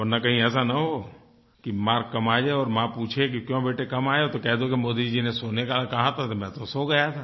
वरना कहीं ऐसा न हो कि मार्क्स कम आ जाये और माँ पूछे कि क्यों बेटे कम आये तो कह दो कि मोदी जी ने सोने को कहा था तो मैं तो सो गया था